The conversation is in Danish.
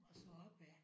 Og så opad